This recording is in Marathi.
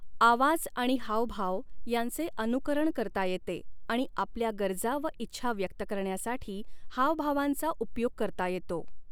आवाज आणि हावभाव यांचे अनुकरण करता येते आणि आपल्या गरजा व इच्छा व्यक्त करण्यासाठी हावभावांचा उपयोग करता येतो.